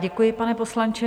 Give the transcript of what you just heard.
Děkuji, pane poslanče.